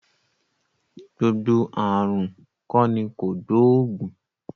Gbogbo ààrùn kọ́ ni kògbóògùn